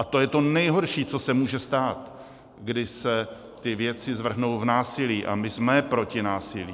A to je to nejhorší, co se může stát, kdy se ty věci zvrhnou v násilí, a my jsme proti násilí.